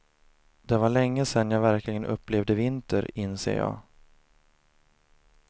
Det var länge sen jag verkligen upplevde vinter, inser jag.